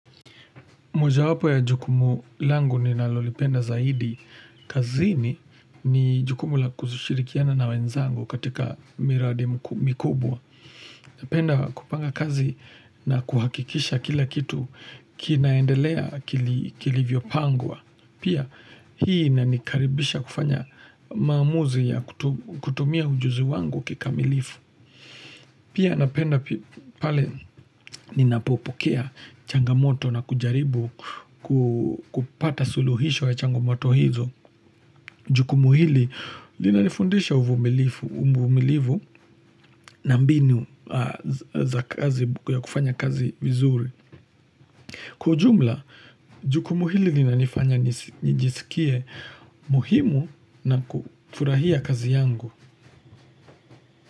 Moja wapo ya jukumu langu ninalolipenda zaidi. Kazini ni jukumu la kushirikiana na wenzangu katika miradi mikubwa. Napenda kupanga kazi na kuhakikisha kila kitu kinaendelea kilivyo pangwa. Pia hii inanikaribisha kufanya maamuzi ya kutumia ujuzi wangu kikamilifu. Pia napenda pale ninapopokea changamoto na kujaribu kupata suluhisho ya changomoto hizo. Jukumu hili linanifundisha uvumilivu na mbinu ya kufanya kazi vizuri. Kwa ujumla, jukumu hili lina nifanya nijisikie muhimu na kufurahia kazi yangu.